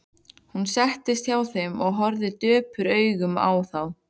Hún settist hjá þeim og horfði döprum augum á þá.